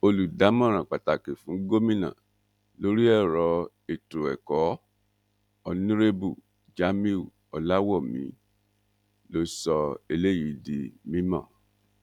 olùdámọràn pàtàkì fún gómìnà lórí ọrọ ètò ẹkọ onírèbù jamiu oláwómí ló sọ eléyìí di mímọ